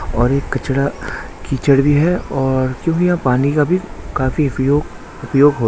और ये कचरा कीचड़ भी है और क्योंकि यह पानी का भी काफी उपयोग उपयोग --